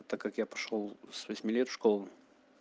так как я пошёл с восьми лет в школу